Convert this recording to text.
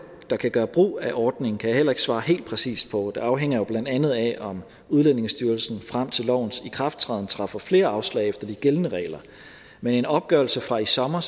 der kan gøre brug af ordningen kan jeg heller ikke svare helt præcist på det afhænger jo blandt andet af om udlændingestyrelsen frem til lovens ikrafttræden træffer flere afslag efter de gældende regler men en opgørelse fra i sommer